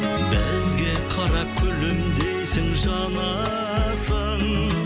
бізге қарап күлімдейсең жанасың